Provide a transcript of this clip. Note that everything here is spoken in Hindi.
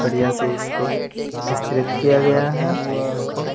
कड़िया से इसको स्त्रित किया गया है इसको--